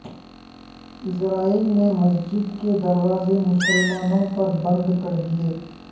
اسرائیل نے مسجد کے دروازے مسلمانوں پر بند کردیئے